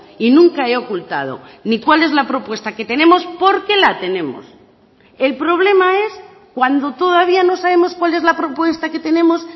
y nunca he ocultado ni cuál es la propuesta que tenemos porque la tenemos el problema es cuando todavía no sabemos cuál es la propuesta que tenemos